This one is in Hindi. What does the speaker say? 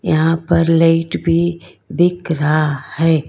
यहां पर लाइट भी दिख रहा है।